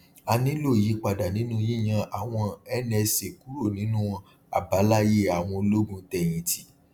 a nílò ìyípadà nínú yíyan àwọn nsa kúrò nínú àbáláyé àwọn ológun tẹyìn tì